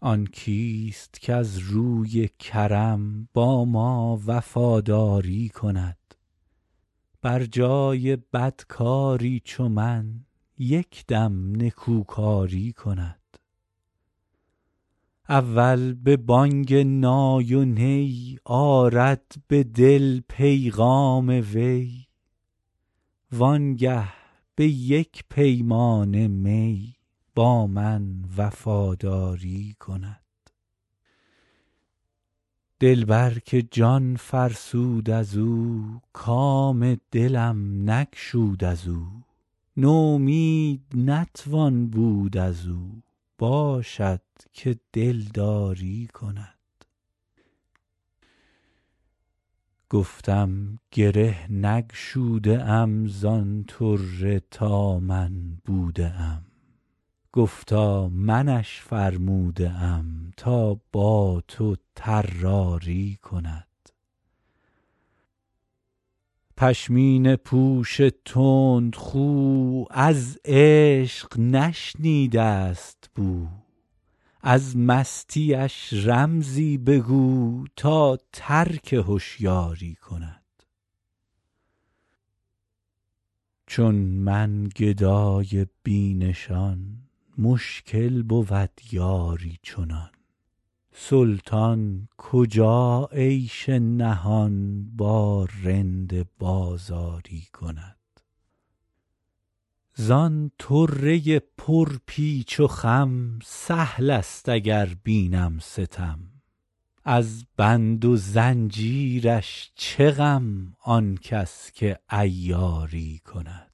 آن کیست کز روی کرم با ما وفاداری کند بر جای بدکاری چو من یک دم نکوکاری کند اول به بانگ نای و نی آرد به دل پیغام وی وانگه به یک پیمانه می با من وفاداری کند دلبر که جان فرسود از او کام دلم نگشود از او نومید نتوان بود از او باشد که دلداری کند گفتم گره نگشوده ام زان طره تا من بوده ام گفتا منش فرموده ام تا با تو طراری کند پشمینه پوش تندخو از عشق نشنیده است بو از مستیش رمزی بگو تا ترک هشیاری کند چون من گدای بی نشان مشکل بود یاری چنان سلطان کجا عیش نهان با رند بازاری کند زان طره پرپیچ و خم سهل است اگر بینم ستم از بند و زنجیرش چه غم هر کس که عیاری کند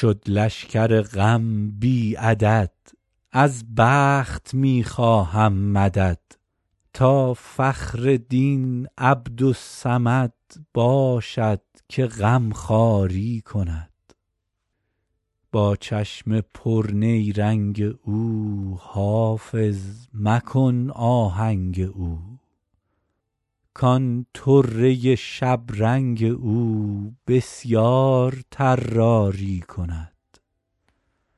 شد لشکر غم بی عدد از بخت می خواهم مدد تا فخر دین عبدالصمد باشد که غمخواری کند با چشم پرنیرنگ او حافظ مکن آهنگ او کان طره شبرنگ او بسیار طراری کند